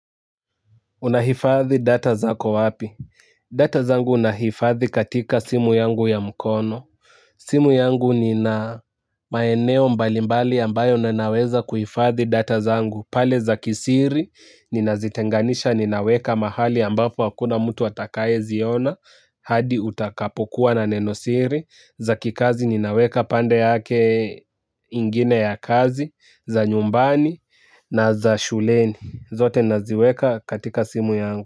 Unahifadhi data zako wapi? Data zamgu nahifadhi katika simu yangu ya mkono. Simu yangu nina maeneo mbalimbali ambayo ninaweza kuhifadhi data zangu. Pale za kisiri, ninazitenganisha ninaweka mahali ambapo hakuna mtu atakayeziona. Hadi utakapokuwa na nenosiri. Za kikazi ninaweka pande yake ingine ya kazi, za nyumbani na za shuleni. Zote naziweka katika simu yangu.